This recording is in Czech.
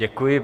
Děkuji.